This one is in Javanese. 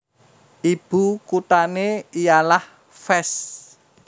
Ibu kuthané ialah Fès